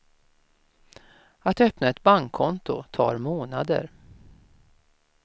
Att öppna ett bankkonto tar månader.